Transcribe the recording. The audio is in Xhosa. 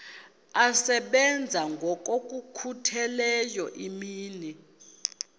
asebenza ngokokhutheleyo imini